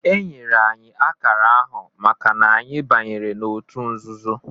Enyere anyị akara ahụ maka na anyị banyere otu nzuzo